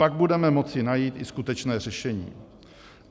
Pak budeme moci najít i skutečné řešení.